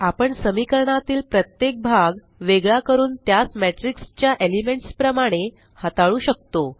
आपण समीकरणातील प्रत्येक भाग वेगळा करून त्यासmatrix च्या एलिमेंट्स प्रमाणे हताळू शकतो